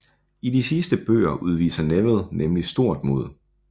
I de sidste bøger udviser Neville nemlig stort mod